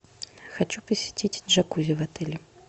хочу посетить джакузи в отеле